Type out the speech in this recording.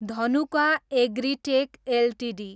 Dhanuka agritech Ltd